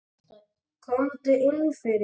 Komdu inn fyrir.